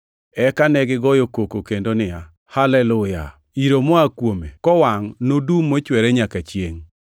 Eka negigoyo koko kendo niya, “Haleluya! Iro moa kuome kowangʼ nodum mochwere manyaka chiengʼ.”